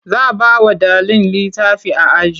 Za bawa ɗalin litafi a aji